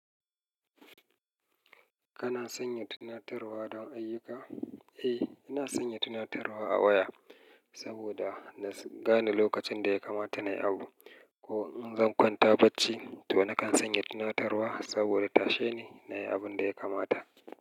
Kana sanya tunatarwa don ayyuka? Eh, ina sanya tunatarwa a waya saboda na gane lokacin da ya kamata na yi abu. Ko in zan kwanta bacci, to nakan sanya tunatarwa saboda tashe ni na yi abin da ya kamata.